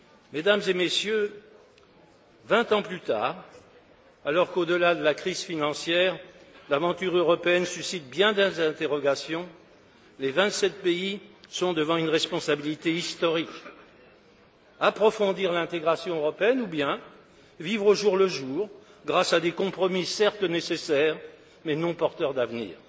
Mesdames et Messieurs, vingt ans plus tard, alors qu'au delà de la crise financière l'aventure européenne suscite bien des interrogations, les vingt sept pays sont devant une responsabilité historique approfondir l'intégration européenne ou bien vivre au jour le jour grâce à des compromis, certes nécessaires, mais non porteurs d'avenir.